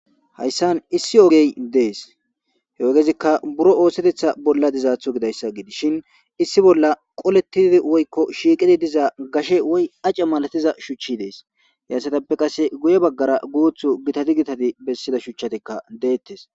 Hayssan issi ogge dess. He ogezikka birro oththeta bolla diyssa gidishin issi bolla qolethiza woykko shiqidi dizza gashe woyy acce malathiza shuchi dees. He assathape qasse guye bagara gutho gittati githathi besida shuchatokka dethess.